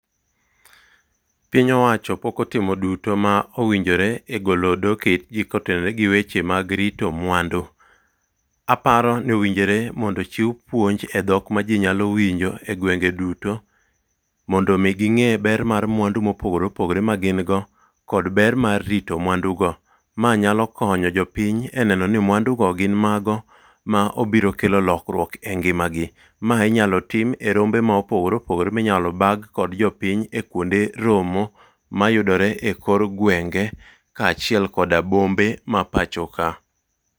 Piny owacho pok otimo duto ma owinjore mar golo odok e it jii kotenore gi weche mag rito mwandu. Aparo ni owinjore mondo ochiw puonj e dhok ma jii nyalo winjo e gwenge duto mondo mi ginge ber mar mwandu mopogore opogore ma gin go kod ber mar rito mwandu go. Ma nyalo konyo jopiny e neno ni mwandu go gin mago ma obiro kelo lokruok e ngima gi. Mae inyalo tim e rombe mopogore opogore minyalo bag kod jopiny e kuonde romo mayudore e kor gwenge kaachiel koda bombe ma pacho ka.